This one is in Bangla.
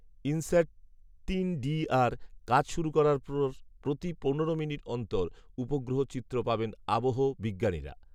ইনস্যাট থ্রিডিআর কাজ শুরু করার পর প্রতি পনেরো মিনিট অন্তর উপগ্রহ চিত্র পাবেন আবহবিজ্ঞানীরা।